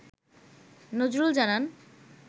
নজরুল জানান